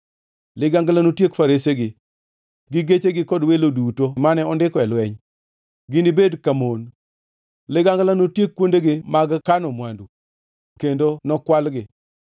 Ligangla notiek faresege gi gechene kod welo duto mane ondiko e lweny! Ginibed ka mon. Ligangla notiek kuondegi mag kano mwandu kendo nokwalgi!